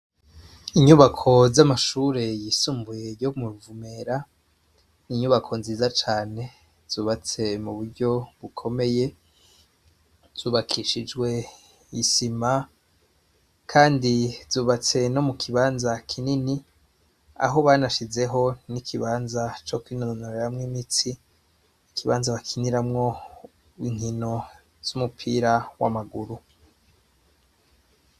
Inyubako z'amashure yisumbuye yo mu Ruvumera, n'inyubako nziza cane zubatse mu buryo bukomeye, zubakishijwe isima kandi zubatse no mu kibanza kinini, aho banashizemwo n'ikibanza co kwinonoreramwo imitsi, ikibanza bakiniramwo inkino z'umupira w'amaguru.